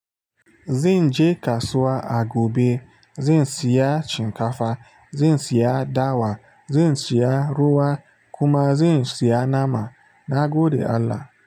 Zan je kasuwa a gobe, zan siya shinkafa, zan siya dawa, zan siya ruwa kuma zan siya nama na gode Allah.